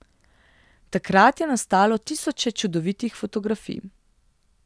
Takrat je nastalo tisoče čudovitih fotografij.